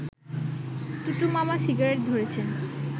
টুটু মামা সিগারেট ধরেছেন